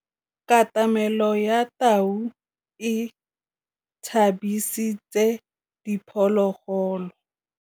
Katamêlô ya tau e tshabisitse diphôlôgôlô.